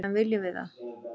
En viljum við það?